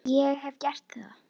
Ég hef gert það.